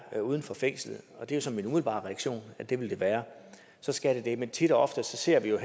er uden for fængslet og det er så min umiddelbare reaktion at det vil være så skal det men tit og ofte ser vi i